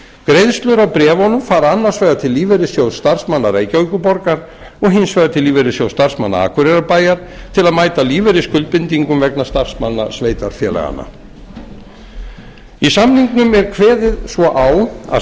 greiðslur af bréfunum fara annars vegar til lífeyrissjóðs starfsmanna reykjavíkurborgar og hins vegar til lífeyrissjóðs starfsmanna akureyrarbæjar til að mæta lífeyrisskuldbindingum vegna starfsmanna sveitarfélaganna í samningnum er kveðið svo á að